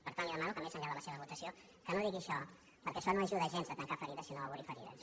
per tant li demano que més enllà de la seva votació no digui això perquè això no ajuda gens a tancar ferides sinó a obrir ferides